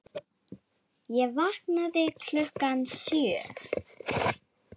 Ég vaknaði klukkan sjö.